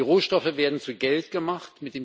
Die Rohstoffe werden zu Geld gemacht.